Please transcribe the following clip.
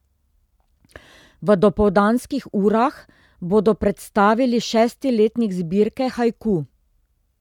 V dopoldanskih urah bodo predstavili šesti letnik zbirke Haiku.